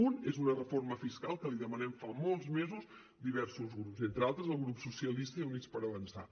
un és una reforma fiscal que li demanem fa molts mesos diversos grups entre altres el grup socialista i units per avançar